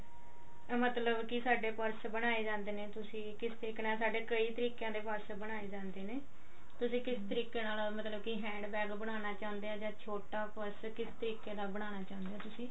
ਮਤਲਬ ਕੀ ਸਾਡੇ ਬਨਾਏ ਜਾਂਦੇ ਨੇ ਤੁਸੀਂ ਕਿਸ ਤਰੀਕੇ ਨਾਲ ਸਾਡੇ ਕਈ ਤਰੀਕਿਆਂ ਦੇ purse ਬਣਾਏ ਜਾਂਦੇ ਨੇ ਤੁਸੀਂ ਕਸ ਤਰੀਕੇ ਨਾਲ ਮਤਲਬ ਵੀ hand bag ਬਣਾਉਣਾ ਚਹੁੰਦੇ ਹੋ ਤਾ ਕਿਸ ਤਰੀਕੇ ਨਾਲ ਬਣਾਉਣਾ ਚਹੁੰਦੇ ਹੋ